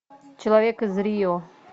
человек из рио